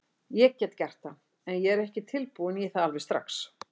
Ég get gert það, en ég er ekki tilbúinn í það alveg strax.